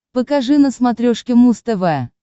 покажи на смотрешке муз тв